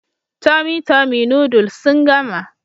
Tummy tummy noodles sun gama